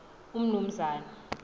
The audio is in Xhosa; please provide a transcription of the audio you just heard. umnumzana